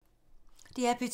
DR P2